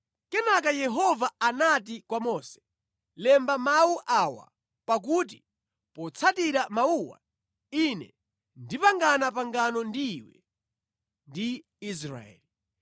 Kenaka Yehova anati kwa Mose, “Lemba mawu awa pakuti potsatira mawuwa, ine ndipangana pangano ndi iwe ndi Israeli.”